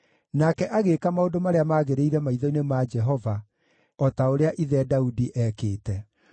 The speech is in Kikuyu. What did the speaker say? Nake agĩĩka maũndũ marĩa maagĩrĩire maitho-inĩ ma Jehova, o ta ũrĩa ithe Daudi eekĩte.